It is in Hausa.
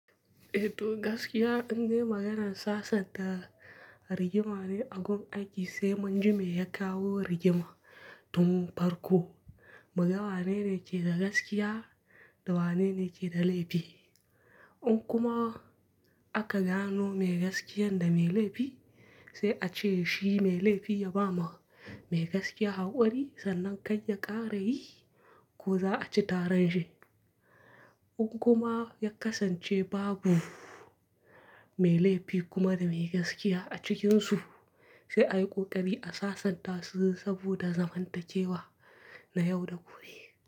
Eh to gaskiya, indai maganan sasanta rigimane a gun aiki sai munji me ya kawo rigima tun farko. Muga wane ne ke da gaskiya da wane ne ke da laifi. In kuma aka gano me gaskiyan da me laifi, sai a ce shi mai laifi ya ba ma mai gaskiya hakuri sannan kai ya ƙara yi ko za a ci taran shi. In kuma ya kasance babu mai laifi kuma da mai gaskiya a cikinsu, sai a yi ƙoƙari a sasanta su saboda zamantakewa na yau da gobe.